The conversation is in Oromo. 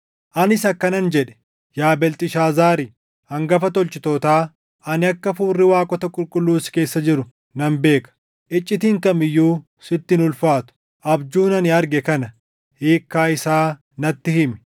Anis akkanan jedhe; “Yaa Beelxishaazaari, hangafa tolchitootaa, ani akka hafuurri waaqota qulqulluu si keessa jiru nan beeka; icciitiin kam iyyuu sitti hin ulfaatu. Abjuun ani arge kana; hiikkaa isaa natti himi.